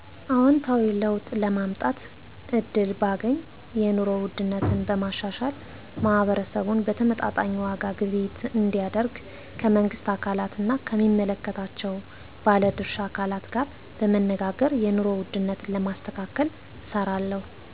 አዎንታዊ ለውጥ ለማምጣት እድል ባገኝ የንሮ ውድነትን በማሻሻል ማህበረሰቡ በተመጣጣኝ ዋጋ ግብይት እንዲያደርግ ከመንግስት አካላት ና ከሚመለከታቸው ባለድርሻ አካላት ጋር በመነጋገር የንሮ ውድነትን ለማስተካከል እሰራለሁ